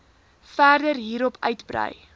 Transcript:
verder hierop uitbrei